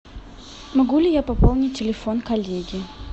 могу ли я пополнить телефон коллеги